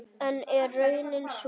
En er raunin sú?